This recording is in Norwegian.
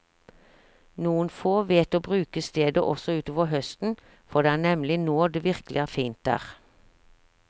Noen få vet å bruke stedet også utover høsten, for det er nemlig nå det virkelig er fint der.